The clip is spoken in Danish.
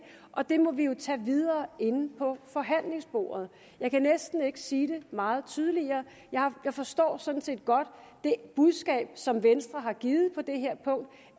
og det må vi jo tage videre inde ved forhandlingsbordet jeg kan næsten ikke sige det meget tydeligere jeg forstår sådan set godt det budskab som venstre har givet på det her punkt